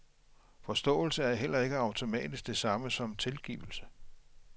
Forståelse er heller ikke automatisk det samme som tilgivelse.